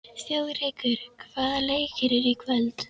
Þjóðrekur, hvaða leikir eru í kvöld?